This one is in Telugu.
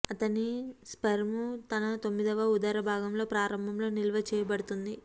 అతని స్పెర్మ్ తన తొమ్మిదవ ఉదర భాగంలో ప్రారంభంలో నిల్వ చేయబడుతుంది